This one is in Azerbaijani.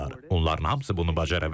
Onların hamısı bunu bacara bilər.